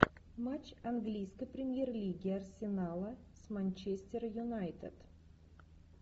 матч английской премьер лиги арсенала с манчестер юнайтед